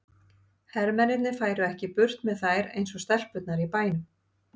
Hermennirnir færu ekki burt með þær eins og stelpurnar í bænum.